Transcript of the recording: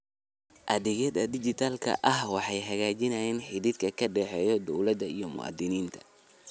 Adeegyada dijitaalka ah waxay hagaajiyaan xidhiidhka ka dhexeeya dawladda iyo muwaadiniinta.